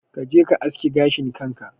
Kaje ka aske gashin kanka